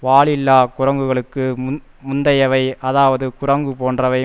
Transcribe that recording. வாலில்லா குரங்குகளுக்கு முந் முந்தையவை அதாவது குரங்கு போன்றவை